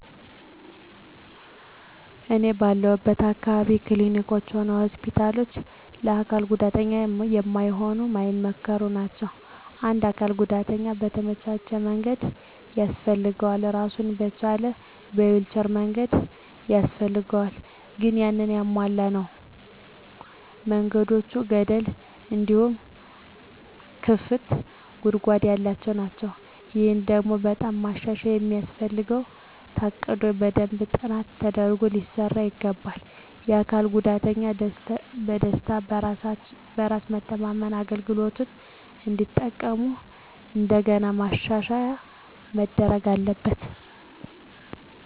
እኔ ባለሁለት አካባቢ ክሊኒኮችም ሆነ ሆስፒታሎች ለአካል ጉዳተኛ ማይሆኑ ማይመከሩ ናቸው። ለአንድ አካል ጉዳተኛ የተመቻቸ መንገድ ያስፈልገዋል እራሱን የቻለ የዊልቸር መንገድ ያስፈልጋል ግን ያንን ያላሟላ ነው። መንገዶቹ ገደል እንዲሁም ክፍት ጉድጓድ ያለባቸው ናቸው። ይሄ ደግሞ በጣም ማሻሻያ የሚያስፈልገው ታቅዶ በደንብ ጥናት ተደርጎ ሊሰራ ይገባዋል። አካል ጉዳተኞች በደስታ፣ በራስ መተማመን አገልግሎቱን እንዲጠቀሙ ከእንደገና ማሻሻያ መደረግ አለበት።